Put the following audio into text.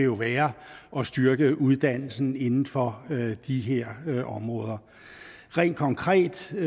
år være at styrke uddannelsen inden for de her områder rent konkret i